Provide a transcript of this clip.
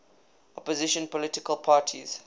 opposition political parties